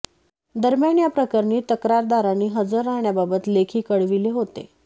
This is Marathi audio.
दरम्यान या प्रकरणी तक्रारदारांनी हजर राहण्याबाबत लेखी कळविले होते